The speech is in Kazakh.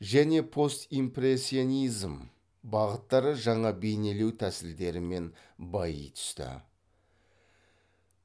және постимпрессионизм бағыттары жаңа бейнелеу тәсілдерімен байи түсті